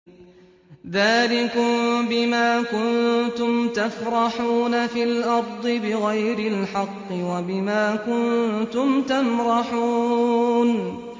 ذَٰلِكُم بِمَا كُنتُمْ تَفْرَحُونَ فِي الْأَرْضِ بِغَيْرِ الْحَقِّ وَبِمَا كُنتُمْ تَمْرَحُونَ